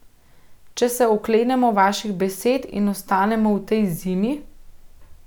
Če se oklenemo vaših besed in ostanemo v tej zimi ...